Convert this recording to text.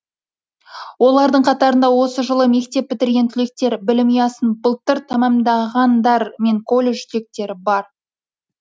олардың қатарында осы жылы мектеп бітірген түлектер білім ұясын былтыр тәмамдағандар мен колледж түлектері бар